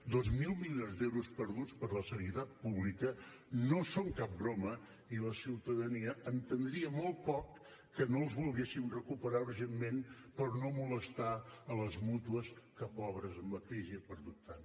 dos mil milions d’euros perduts per a la sanitat pública no són cap broma i la ciutadania entendria molt poc que no els volguéssim recuperar urgentment per no molestar les mútues que pobres amb la crisi han perdut tant